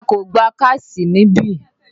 A kò gbà káàṣì níbí!